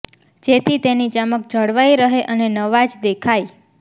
જેથી તેની ચમક જળવાઇ રહે અને નવા જ દેખાય